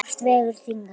Hvort vegur þyngra?